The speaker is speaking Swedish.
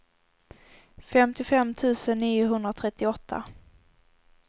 femtiofem tusen niohundratrettioåtta